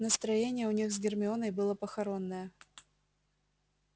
настроение у них с гермионой было похоронное